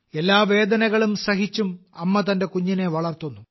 എല്ലാ വേദനകളും സഹിച്ചും അമ്മ തന്റെ കുഞ്ഞിനെ വളർത്തുന്നു